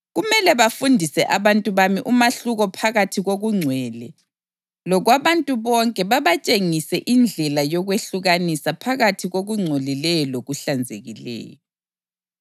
Kumele bafundise abantu bami umahluko phakathi kokungcwele lokwabantu bonke babatshengise indlela yokwehlukanisa phakathi kokungcolileyo lokuhlanzekileyo.